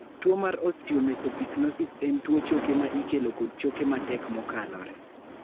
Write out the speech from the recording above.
tuo mar Osteomesopyknosis en tuo choke ma ikelo kod choke matek mokalore